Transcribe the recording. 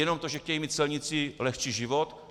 Jenom to, že chtějí mít celníci lehčí život?